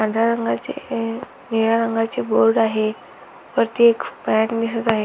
पांढऱ्या रंगाची ए निळ्या रंगाची बोर्ड आहे वरती एक वायर दिसत आहे.